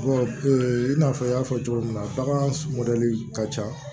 i n'a fɔ n y'a fɔ cogo min na bagan mɔdɛli ka ca